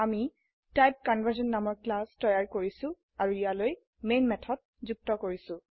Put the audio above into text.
আমি টাইপকনভাৰ্চন নামৰ ক্লাস তৈয়াৰ কৰিছো আৰু ইয়ালৈ মেন মেথড যুক্ত কৰিছো